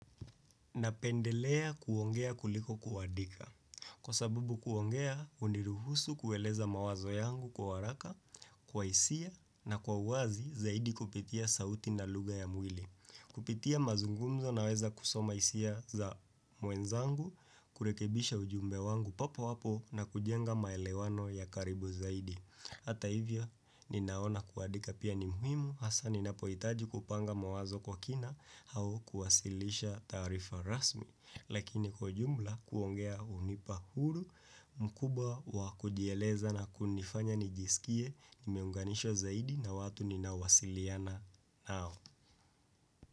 Napendelea kuongea kuliko kuwadika. Kwa sababu kuongea, uniruhusu kueleza mawazo yangu kwa waraka, kwa hisia na kwa uwazi zaidi kupitia sauti na lugha ya mwili. Kupitia mazungumzo na weza kusoma hisia za mwenzangu, kurekebisha ujumbe wangu papo papo na kujenga maelewano ya karibu zaidi. Hata hivyo, ninaona kuadika pia nimuhimu, hasa ninapoitaji kupanga mawazo kwa kina hao kuwasilisha tarifa rasmi, lakini kujumla kuongea unipa huru mkubwa wa kujieleza na kunifanya nijisikie nimeunganisho zaidi na watu ninawasiliana nao.